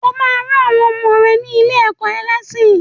O ma ran àwọn ọmọ rẹ ní ilé-ẹ̀kọ́ ẹlẹ́sìn.